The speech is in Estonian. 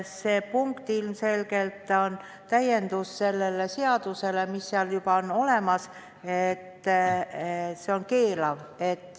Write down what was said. See punkt on ilmselgelt selle seaduse täienduseks ja seal on juba olemas viide keelamisele.